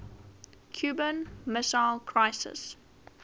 cuban missile crisis